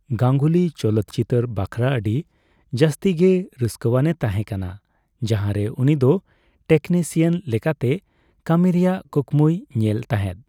ᱜᱟᱝᱜᱩᱞᱤ ᱪᱚᱞᱚᱛ ᱪᱤᱛᱟᱹᱨ ᱵᱟᱠᱷᱨᱟ ᱟᱹᱰᱤ ᱡᱟᱹᱥᱛᱤᱜᱮ ᱨᱟᱹᱥᱠᱟᱹᱣᱟᱱᱮ ᱛᱟᱦᱮᱠᱟᱱᱟ, ᱡᱟᱦᱟᱸ ᱨᱮ ᱩᱱᱤᱫᱚ ᱴᱮᱠᱱᱤᱥᱤᱭᱟᱱ ᱞᱮᱠᱟᱛᱮ ᱠᱟᱹᱢᱤ ᱨᱮᱭᱟᱜ ᱠᱩᱠᱢᱩᱭ ᱧᱮᱞ ᱛᱟᱦᱮᱫ ᱾